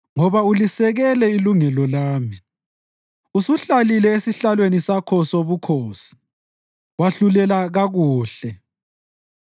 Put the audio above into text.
Ngoba ulisekele ilungelo lami; usuhlalile esihlalweni sakho sobukhosi wahlulela kakuhle.